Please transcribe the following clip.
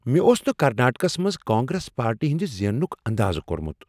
مےٚ اوس نہٕ کرناٹکس منٛز کانگریس پارٹی ہنٛد زیننک اندازٕ کۄرمُت۔